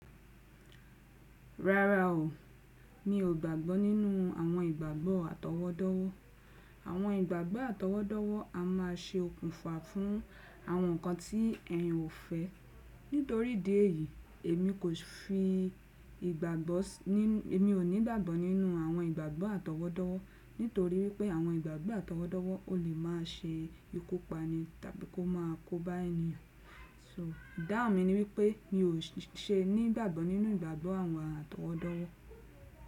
Rárá o, mi ò gbàgbọ́ nínú àwọn ìgbàgbọ́ àtọwọ́dọ́wọ́. Àwọn ìgbàgbọ́ àtọwọ́dọ́wọ́ a má a ṣe okùnfà fún àwọn nkan tí ẹyin ò fẹ́. Nítorí ìdí èyí, èmi kò fi ìgbàgbọ́, èmi ò ní ìgbàgbọ́ nínú àwọn ìgbàgbọ́ àtọwọ́dọ́wọ́ nítorí wípé àwọn ìgbàgbọ́ àtọwọ́dọ́wọ́ o lè má a ṣe ìku pani tàbí kó má a kóba eniyan. So ìdáhùn mi ni wípé mi ò ṣe ní ìgbàgbọ́ nínú ìgbàgbọ́ àwọn àtọwọ́dọ́wọ́.